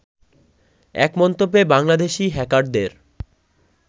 এক মন্তব্যে বাংলাদেশি হ্যাকারদের